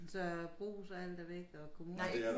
Så brugs og alt er væk og kommune